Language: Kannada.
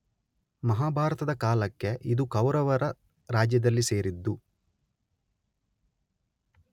ಮಹಾಭಾರತದ ಕಾಲಕ್ಕೆ ಇದು ಕೌರವರ ರಾಜ್ಯದಲ್ಲಿ ಸೇರಿದ್ದು